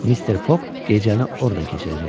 Mister Foq gecəni orda keçirəcəkdi.